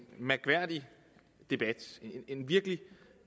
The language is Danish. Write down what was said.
mærkværdig debat en virkelig